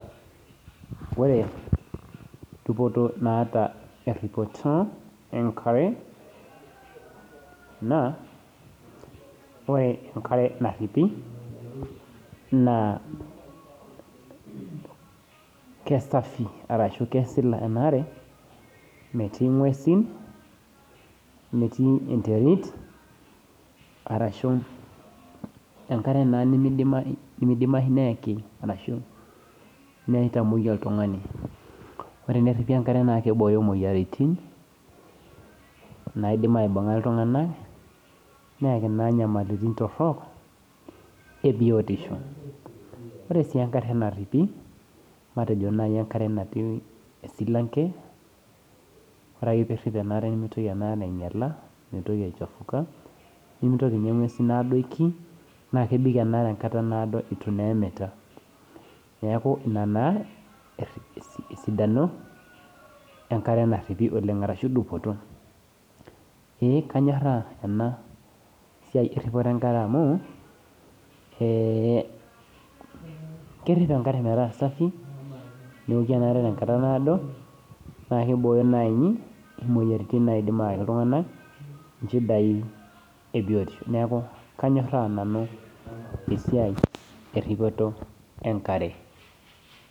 Ore dupoto naata eripoto enkare, naa ore enkare naripi, naa kesafi, arashu keshila enaare, metii inguesi metii enterit arashu enkare naa nemeidimayu neaku ashu neitamwoi oltung'ani, ore pee eripi enkare naake eibooyo imoyaritin naidim aibung' a iltung'ana, neyaki naa inyamaliritin torok e biotisho, ore sii enkare naripi, matejo naaji enkare esilamke, ore ake pee irip enaare, nemeitoki enaare ainyala, meitoki aichafuka, nemeitoki naa inguesi aadoiki, naake ebik enaare enkata naado naa eitu naa emita, neaku Ina naa esidano enkare naripi oleng' arashu dupoto. Ee kanyoraa ena siai eripoto enkare amu kerip enkare metaa safi, neoki enaare tenkata naado, naakeibooyo naaji imoyaritin naidim ayaki iltung'ana inchidai e biotisho neaku kanyoraa nanu esiai eripoto enkare.